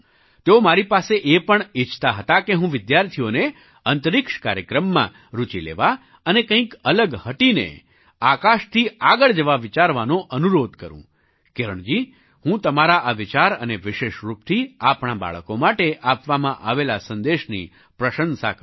તેઓ મારી પાસે એ પણ ઈચ્છતા હતા કે હું વિદ્યાર્થીઓને અંતરિક્ષ કાર્યક્રમમાં રુચિ લેવા અને કંઈક અલગ હટીને આકાશથી આગળ જવા વિચારવાનો અનુરોધ કરું કિરણજી હું તમારા આ વિચાર અને વિશેષ રૂપથી આપણાં બાળકો માટે આપવામાં આવેલા સંદેશની પ્રશંસા કરું છું